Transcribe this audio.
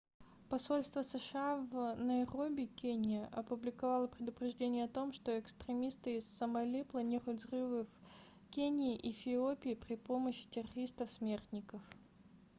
посольство сша в найроби кения опубликовало предупреждение о том что экстремисты из сомали планируют взрывы в кении и эфиопии при помощи террористов-смертников